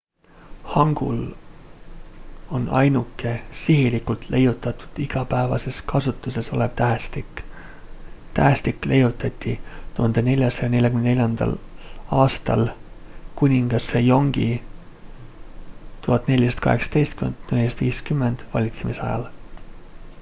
hangul on ainuke sihilikult leiutatud igapäevases kasutuses olev tähestik. tähestik leiutati 1444. aastal kuningas sejongi 1418–1450 valitsemisajal